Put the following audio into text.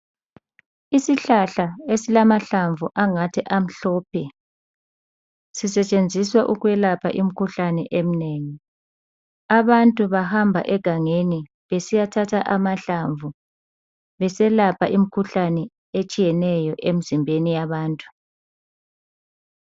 Isihlahla ezilamahlamvu angathi amhlophe, sisentshenziswa ukwelapha imikhuhlane eminengi. Abantu bahamba egangeni besiyathatha amahlamvu beselapha imikhuhlane etshiyeneyo emzimbeni yabantu.